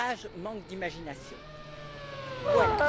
Farage manque d'imagination. Voilà!